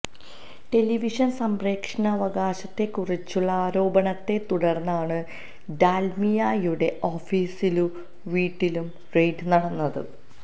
ടെലിവിഷന് സംപ്രേഷണാവകാശത്തെക്കുറിച്ചുള്ള ആരോപണത്തെ തുടര്ന്നാണ് ഡാല്മിയയുടെ ഓഫീസിലും വീട്ടിലും റെയ്ഡ് നടന്നത്